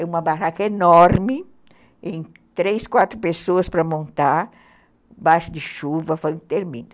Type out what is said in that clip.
em uma barraca enorme, em três, quatro pessoas para montar, embaixo de chuva, foi interminável.